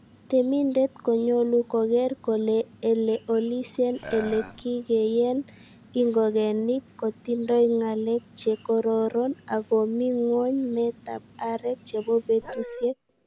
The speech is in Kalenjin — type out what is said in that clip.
Temindet konyolu kogeer kole ele olisien ele kikenyen ingogenik kotindoi ngalek che kororoon, ak komi ngwony meetab areek chebo betusiek.